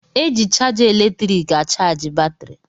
E ji chaja eletriiki achaji batrị.